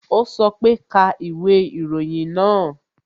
O sọ pe "ka ìwé ìròyìn náà"